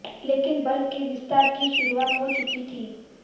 लेकिन बल के विस्तार की शुरूआत हो चुकी थी